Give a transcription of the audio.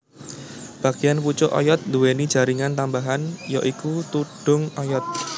Bagéan pucuk oyod nduwèni jaringan tambahan ya iku tudhung oyod